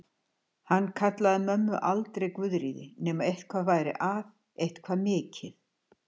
Hann kallaði mömmu aldrei Guðríði nema eitthvað væri að, eitthvað mikið.